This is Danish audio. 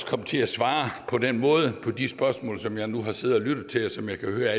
komme til at svare på den måde på de spørgsmål som jeg nu har siddet og lyttet til og som jeg kan høre